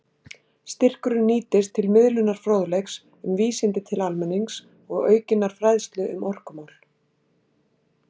Styrkurinn nýtist til miðlunar fróðleiks um vísindi til almennings og aukinnar fræðslu um orkumál.